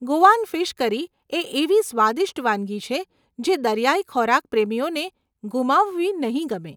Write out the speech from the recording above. Goan fish curry એ એવી સ્વાદિષ્ટ વાનગી છે જે દરિયાઈ ખોરાક પ્રેમીઓને ગુમાવવી નહીં ગમે.